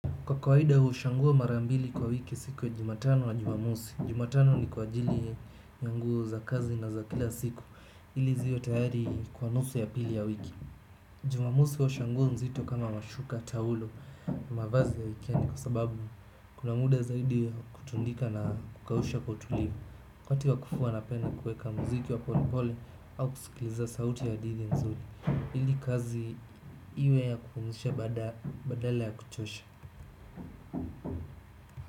Kwa kawaida huosha nguo mara mbili kwa wiki siku ya jumatano na jumamosi. Jumatano ni kwa ajili ya nguo za kazi na za kila siku. Ili ziwe tayari kwa nusu ya pili ya wiki. Jumamosi huosha nguo nzito kama mashuka, taulo, mavazi ya wikendi. Kwa sababu kuna muda zaidi wa kutandika na kukausha kwa utulivu wakati wa kufua na penda kueka mziki wa polepole au kusikiliza sauti ya hadithi nzuri. Ili kazi iwe ya kupumzisha badala ya kuchosha.